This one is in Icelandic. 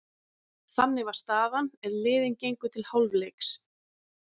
Þannig var staðan er liðin gengu til hálfleiks.